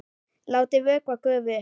Látið vökva gufa upp.